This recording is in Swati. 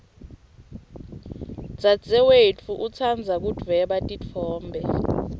dzadzewetfu utsandza kudvweba titfombe